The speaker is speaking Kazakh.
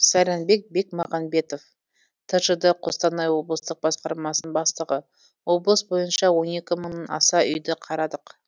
сайранбек бекмағанбетов тжд қостанай облыстық басқармасының бастығы облыс бойынша он екі мыңнан аса үйді қарадық